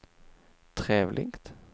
trevligt